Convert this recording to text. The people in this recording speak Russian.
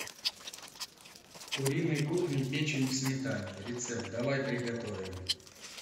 куриной кухни печень в сметане рецепт давай приготовим